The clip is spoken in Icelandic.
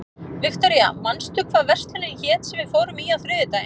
Viktoria, manstu hvað verslunin hét sem við fórum í á þriðjudaginn?